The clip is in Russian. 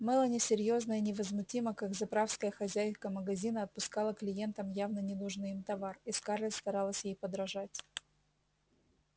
мелани серьёзно и невозмутимо как заправская хозяйка магазина отпускала клиентам явно ненужный им товар и скарлетт старалась ей подражать